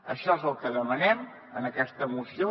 això és el que demanem en aquesta moció